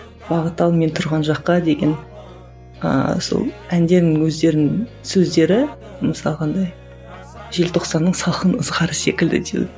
бағыттал мен тұрған жаққа деген ыыы сол әндерінің өздерінің сөздері мысалға андай желтоқсанның салқын ызғары секілді